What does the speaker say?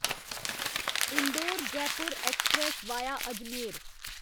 Indore Jaipur express via Ajmer